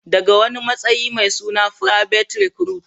daga wani matsayi mai suna private recruit